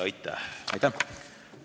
Aitäh!